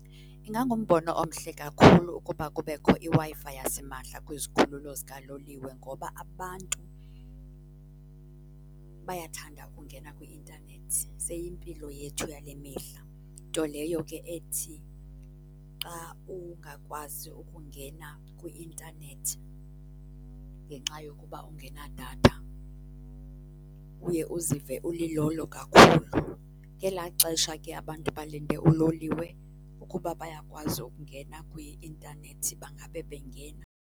Ingangumbono omhle kakhulu ukuba kubekho iWi-Fi yasimahla kwizikhululo zikaloliwe ngoba abantu bayathanda kungena kwi-intanethi, seyimpilo yethu yale mihla. Nto leyo ke ethi xa ungakwazi ukungena kwi-intanethi ngenxa yokuba ungenadatha, uye uzive ulilolo kakhulu. Ngelaa xesha ke abantu balinde uloliwe, ukuba bayakwazi ukungena kwi-intanethi bangabe bengena.